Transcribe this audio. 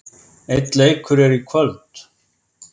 Einn leikur er í kvöld.